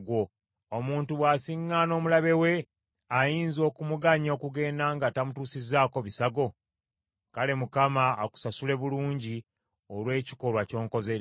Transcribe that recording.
Omuntu bw’asiŋŋaana omulabe we, ayinza okumuganya okugenda nga tamutuusizzaako bisago? Kale Mukama akusasule bulungi olw’ekikolwa ky’onkoze leero.